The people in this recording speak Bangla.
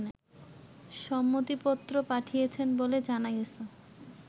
সম্মতিপত্র পাঠিয়েছেন বলে জানা গেছে